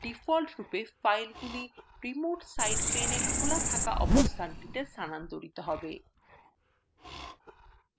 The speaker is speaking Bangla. ডিফল্টরূপে ফাইলগুলি remote site pane এ খোলা থাকা অবস্থানটিতে স্থানান্তরিত হবে